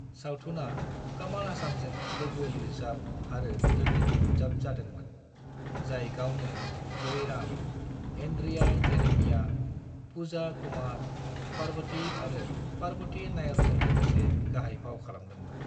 सावथुना कमल हासनजों लोगो-लिरजाब आरो लोगो-दिहुनजाब जादोंमोन, जाय गावनो जयराम, एंड्रिया जेरेमिया, पूजा कुमार, पार्वती आरो पार्वती नायरजों लोगोसे गाहाय फाव खालामदोंमोन।